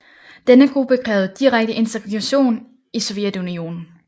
Denne gruppe krævede direkte integration i Sovjetunionen